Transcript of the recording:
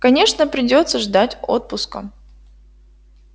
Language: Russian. конечно придётся ждать отпуска